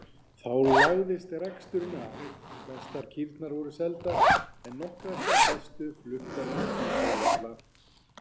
Þá lagðist reksturinn af, flestar kýrnar voru seldar en nokkrar þær bestu fluttar til Hvítárvalla.